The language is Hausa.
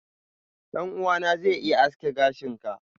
ɗan'uwana zai iya aske gashin ka.